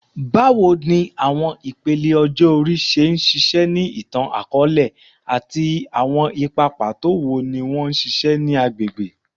Bawo ni awọn ipele ọjọ ori ṣe ṣiṣẹ ni itan-akọọlẹ, ati awọn ipa pato wo ni wọn ṣiṣẹ ni agbegbe?